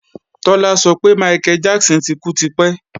Tọ́lá sọ pé Michael Jackson ti kú tipẹ́